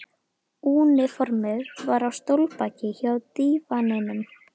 Úniformið var á stólbaki hjá dívaninum.